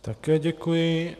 Také děkuji.